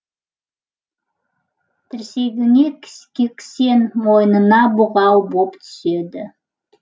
тірсегіне кісен мойнына бұғау боп түседі